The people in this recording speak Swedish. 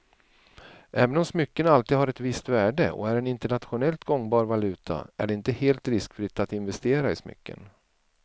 Även om smycken alltid har ett visst värde och är en internationellt gångbar valuta är det inte helt riskfritt att investera i smycken.